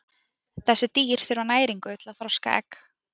Þessi dýr þurfa næringu til að þroska egg.